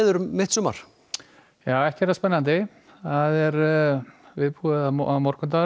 um mitt sumar já ekki er það spennandi viðbúið að morgundagurinn